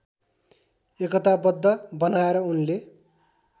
एकताबद्ध बनाएर उनले